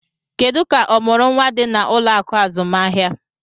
Kedu ka ọmụrụ nwa dị na ụlọ akụ azụmaahịa?